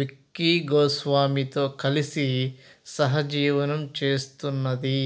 విక్కీ గోస్వామితో కలిసి సహజీవనం చేస్తున్నది